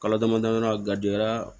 Kalo damadamanin gara